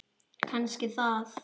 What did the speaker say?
Kannski það.